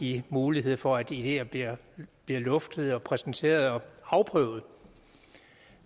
give mulighed for at ideer bliver luftet og præsenteret og afprøvet